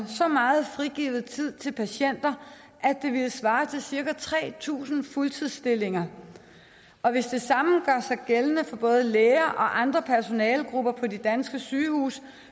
så meget frigivet tid til patienterne at det ville svare til cirka tre tusind fuldtidsstillinger og hvis det samme gør sig gældende for både læger og andre personalegrupper på de danske sygehuse